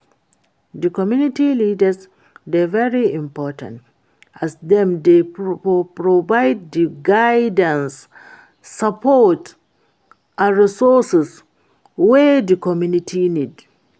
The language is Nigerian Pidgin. di community leaders dey very important, as dem dey provide di guidance, support and resources wey di community need.